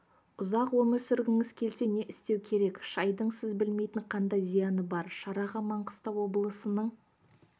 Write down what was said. ұзақ өмір сүргіңіз келсе не істеу керек шайдың сіз білмейтін қандай зияны бар шараға маңғыстау облысының